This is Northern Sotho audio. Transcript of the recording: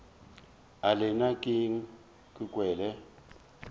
e le nna ke kwele